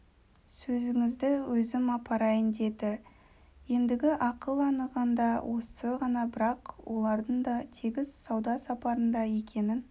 сөзіңізді өзім апарайын деді ендігі ақыл анығында осы ғана бірақ олардың да тегіс сауда сапарында екенін